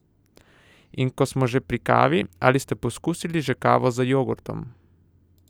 In ko smo že pri kavi, ali ste poizkusili že kavo z jogurtom?